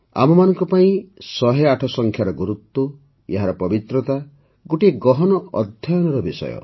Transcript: ଆମମାନଙ୍କ ପାଇଁ ୧୦୮ ସଂଖ୍ୟାର ଗୁରୁତ୍ୱ ଏହାର ପବିତ୍ରତା ଗୋଟିଏ ଗହନ ଅଧ୍ୟୟନର ବିଷୟ